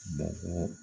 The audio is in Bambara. Bɔgɔ